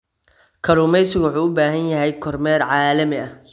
Kalluumaysigu waxa uu u baahan yahay kormeer caalami ah.